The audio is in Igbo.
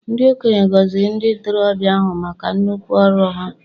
Ndị okenye gọziri ndị ntorobịa ahụ maka nnukwu ọrụ ha.